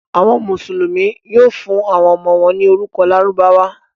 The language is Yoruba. Àwọn Mùsùlùmí yóò fún àwọn ọmọ wọn ní orúkọ Lárúbáwá.